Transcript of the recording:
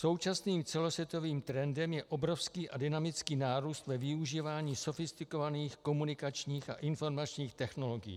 Současným celosvětovým trendem je obrovský a dynamický nárůst ve využívání sofistikovaných komunikačních a informačních technologií.